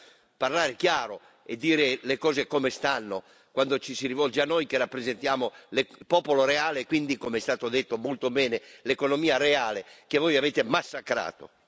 Bisogna parlare chiaro e dire le cose come stanno quando ci si rivolge a noi che rappresentiamo il popolo reale e quindi, come è stato detto molto bene, l'economia reale che voi avete massacrato.